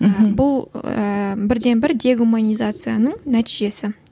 ы бұл ыыы бірден бір дегуманизацияның нәтижесі